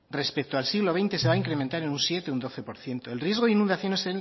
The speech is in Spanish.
respecto al siglo veinte se va incrementar en un siete o un doce por ciento el riesgo de inundaciones